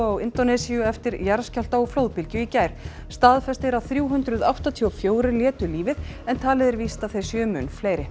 á Indónesíu eftir jarðskjálfta og flóðbylgju í gær staðfest er að þrjú hundruð áttatíu og fjögur létu lífið en talið er víst að þeir séu mun fleiri